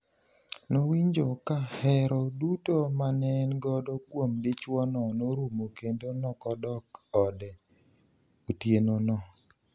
Nowinjo ka hero duto maneengodo kuom dichuono norumo kendo nokodok e ode otieno no.